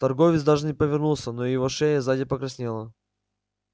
торговец даже не повернулся но его шея сзади покраснела